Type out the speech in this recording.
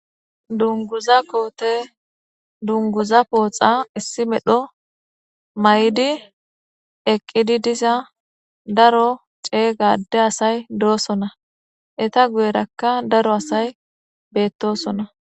Dunguza koothe dunguza pooxa issi medho mayidi eqqidi diza daro ceega adde asay doosona; etha guyerakka daro asay beeththoosona.